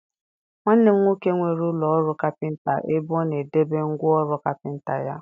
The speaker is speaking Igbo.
Nwanne m nwoke nwere ụlọ ọrụ kapịnta ebe ọ na-edebe ngwa ọrụ kapịnta ya.